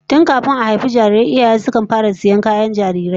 Tun kafin a haifi jarirai iyaye sukan fara sayan kayan jarirai